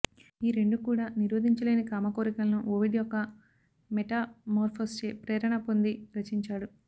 ఈ రెండూ కూడా నిరోధించలేని కామకోరికలను ఓవిడ్ యొక్క మెటామోర్ఫోస్చే ప్రేరణ పొంది రచించాడు